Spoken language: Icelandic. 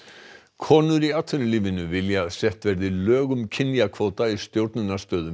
konur í atvinnulífinu vilja að sett verði lög um kynjakvóta í stjórnunarstöðum